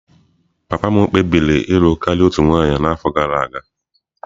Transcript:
Papa m kpebiri ịlụ karịa otu nwanyị n'afọ gara aga.